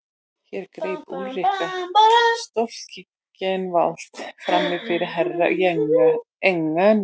Hér greip Úlrika Stoltzenwald framí fyrir Herra Enzana.